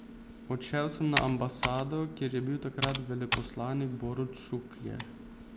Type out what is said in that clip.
Odšel sem na ambasado, kjer je bil takrat veleposlanik Borut Šuklje.